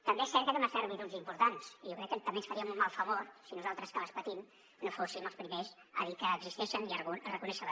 també és cert que té unes servituds importants jo crec que també ens faríem un mal favor si nosaltres que les patim no fóssim els primers a dir que existeixen i a reconèixer les